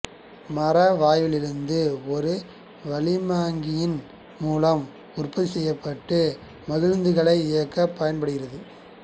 மர வாயுவிலிருந்து ஒரு வளிமமாக்கியின் மூலமாக உற்பத்தி செய்யப்பட்டு மகிழ்வுந்துகளை இயக்கப் பயன்படுகிறது